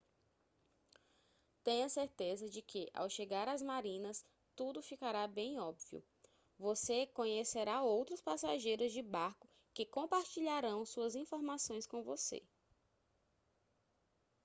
tenha certeza de que ao chegar às marinas tudo ficará bem óbvio você conhecerá outros passageiros de barco que compartilharão suas informações com você